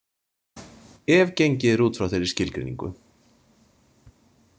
Ef gengið er út frá þeirri skilgreiningu.